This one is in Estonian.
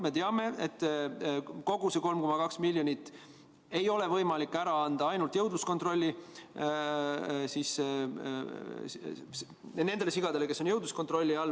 Me teame, et kogu seda 3,2 miljonit ei ole võimalik anda ainult nendele sigadele, kes on jõudluskontrolli all.